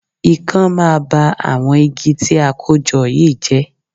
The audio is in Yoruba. Ikán máa ba àwọn igi tí a kó jọ yìí jẹ́